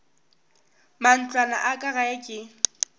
matlwana a ka gae ke